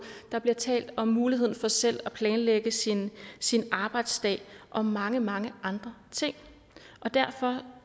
der bliver talt om muligheden for selv at planlægge sin sin arbejdsdag og mange mange andre ting derfor